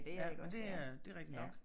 Ja men det er det rigtig nok